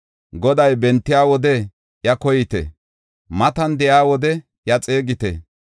“Goday bentiya wode iya koyite; matan de7iya wode iya xeegite.